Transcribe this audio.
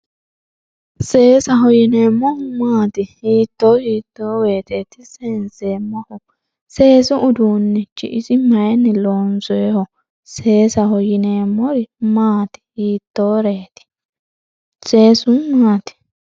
Seesaho yinemeohu maati hiito hiito woyiteti sensemohu seesu uduunichi isi mayini lonsoniho seesaho yinemori maat hiitoret seesu maat.